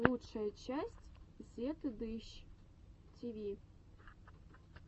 лучшая часть зетыдыщ тиви